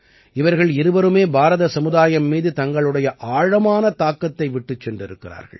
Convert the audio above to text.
இவர்கள் இருவருமே பாரத சமுதாயம் மீது தங்களுடைய ஆழமான தாக்கத்தை விட்டுச் சென்றிருக்கிறார்கள்